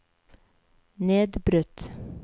nedbrutt